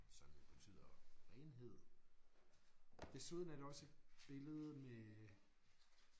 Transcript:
Som jo betyder renhed. Desuden er der også et billede med